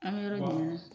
An bɛ yɔrɔ min na